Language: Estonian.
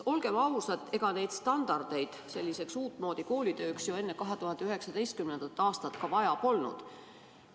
Olgem ausad, ega standardeid selliseks uutmoodi koolitööks enne 2019. aastat ju vaja polnud.